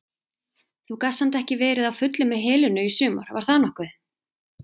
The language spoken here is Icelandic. Þú gast samt ekki verið á fullu með Helenu í sumar var það nokkuð?